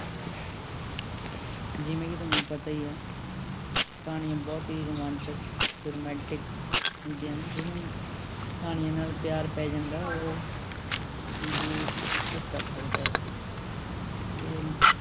ਜਿਵੇਂ ਕਿ ਤੁਹਾਨੂੰ ਪਤਾ ਹੀ ਹੈ ਕਹਾਣੀਆਂ ਬਹੁਤ ਤੇਜ਼, ਰੁਮਾਂਚਕ ਅਤੇ romantic ਹੁੰਦੀਆਂ ਨੇ, ਜਿਹਨੂੰ ਕਹਾਣੀਆਂ ਨਾਲ ਪਿਆਰ ਪੈ ਜਾਦਾ ਹੈ ਉਹ ਜ਼ਿੰਦਗੀ ਵਿੱਚ ਸਭ ਕੁੱਝ ਕਰ ਸਕਦਾ ਹੈ ਇਹ